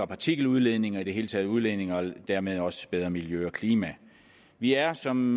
partikeludledning og i det hele taget udledning og dermed også bedre miljø og klima vi er som